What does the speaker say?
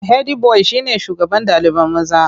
Hedi boyi shine shugaban ɗalibai maza.